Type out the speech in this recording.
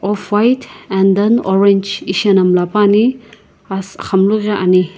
offwhite and then orange ishiana mlla puani and axamunu ghi ani.